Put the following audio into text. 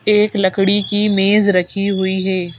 एक लकड़ी की मेज रखी हुई है।